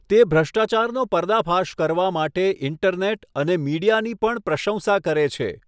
તે ભ્રષ્ટાચારનો પર્દાફાશ કરવા માટે ઈન્ટરનેટ અને મીડિયાની પણ પ્રશંસા કરે છે.